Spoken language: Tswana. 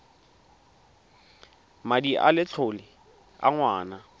madi a letlole a ngwana